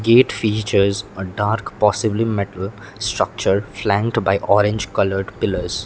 gate features a dark possibly metal structure flanged by orange coloured pillars.